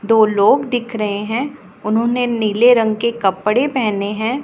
दो लोग दिख रहे हैं उन्होंने नीले रंग के कपड़े पहने हैं।